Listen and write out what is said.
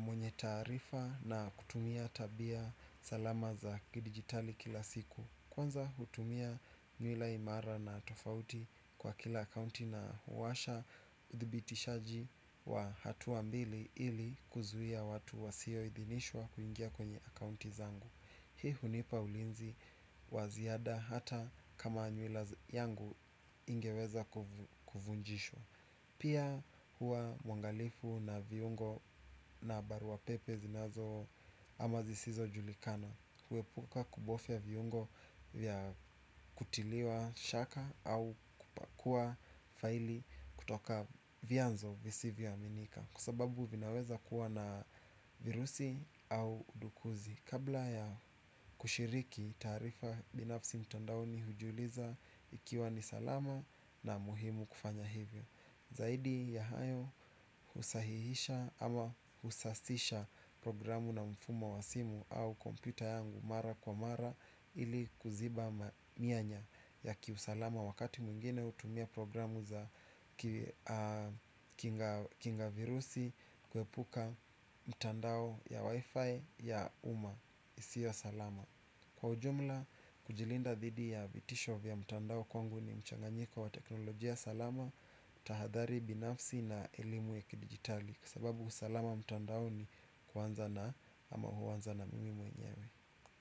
mwenye taarifa na kutumia tabia salama za kidigitali kila siku. Kwanza hutumia nywila imara na tofauti kwa kila akaunti na huwasha uthibitishaji wa hatua mbili ili kuzuia watu wasio idhinishwa kuingia kwenye akaunti zangu. Hii hunipa ulinzi wa ziada hata kama nywila yangu ingeweza kuvunjishwa. Pia hua mwangalifu na viungo na baruapepe zinazo ama zisizo julikana kuepuka kubofia viungo vya kutiliwa shaka au kukua faili kutoka vianzo visivyo aminika. Kwa sababu vinaweza kuwa na virusi au udukuzi. Kabla ya kushiriki taarifa binafsi mtondaoni hujiuliza ikiwa ni salama na muhimu kufanya hivyo. Zaidi ya hayo husahihisha ama husasisha programu na mfumo wa simu au kompyuta yangu mara kwa mara. Ili kuziba mianya ya kiusalama wakati mwingine hutumia programu za kinga virusi. Kuepuka mtandao ya wifi ya umma isiyo ya salama. Kwa ujumla kujilinda dhidi ya vitisho vya mtandao kwangu ni mchanganyiko wa teknolojia salama tahadhari binafsi na elimu ya kidigitali. Kusababu usalama mtandaoni kuwanza na ama huwanza na mimi mwenyewe.